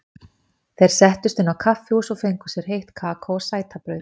Þeir settust inn á kaffihús og fengu sér heitt kakó og sætabrauð.